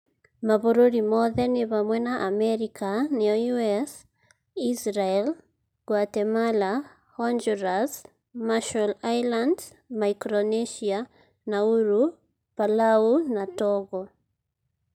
(Mabũrũri mothe nĩ hamwe na Amerika (US), Israel, Guatemala, Honduras, Marshall Islands, Micronesia, Nauru, Palau, na Togo.)